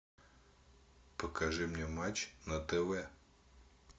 покажи мне матч на тв